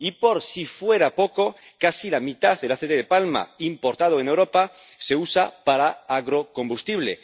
Y, por si fuera poco, casi la mitad del aceite de palma importado en Europa se usa para agrocombustible.